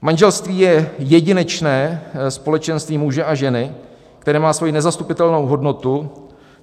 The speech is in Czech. Manželství je jedinečné společenství muže a ženy, které má svoji nezastupitelnou hodnotu.